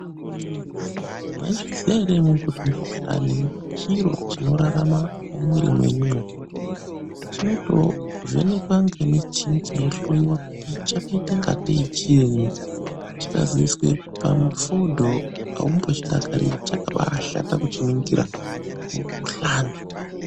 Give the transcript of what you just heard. Maizviziva here kuti mukuhlani chiro chinorarama mumwiri menyumo chinotovhenekwa nemichini cheihloiwa kuti chakaita ngatei chini chikazoiswa pamufodho aumbochidakariri chakabashata kuchiningira mukuhlani.